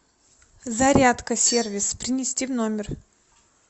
зарядка сервис принести в номер